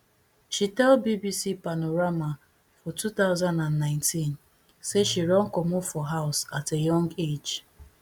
she tell bbc panorama for two thousand and nineteen say she run comot for house at a young age